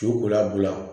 Co ko labila